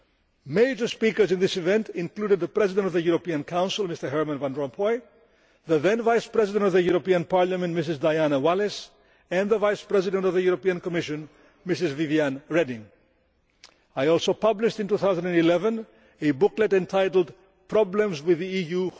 Major speakers in this event included the President of the European Council, Mr Herman Van Rompuy, the then Vice President of the European Parliament, Mrs Diana Wallis, and the Vice President of the European Commission, Mrs Viviane Reding. I also published, in 2011, a booklet entitled Problems with the EU?